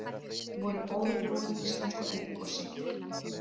Voru óviðbúin íslensku eldgosi